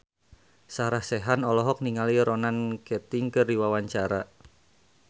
Sarah Sechan olohok ningali Ronan Keating keur diwawancara